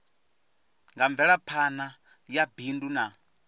kha mvelaphana ya bindu na